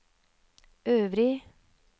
øvrig